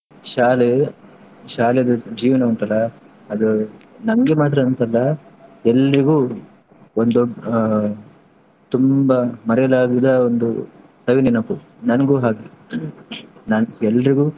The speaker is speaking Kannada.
ಶಾಲೆ ಶಾಲೆದು ಜೀವನ ಉಂಟಲ್ಲ ಅದು ನಂಗೆ ಮಾತ್ರ ಅಂತಲ್ಲ ಎಲ್ರಿಗೂ ಒಂದು ದೊ~ ಆ ತುಂಬಾ ಮರಿಯಲಾಗದ ಒಂದು ಸವಿ ನೆನಪು. ನಂಗೂ ಹಾಗೆ ನನ್ ಎಲ್ರಿಗೂ.